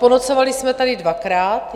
Ponocovali jsme tady dvakrát.